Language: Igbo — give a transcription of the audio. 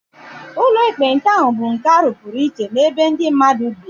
Ụlọ ekpenta ahụ bụ nke a rụpụrụ iche n'ebe ndị mmadụ bi